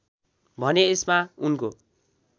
भने यसमा उनको